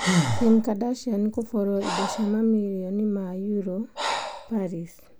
Kim Kardashian kũborwo indo cia mamirioni ma euro ,Paris.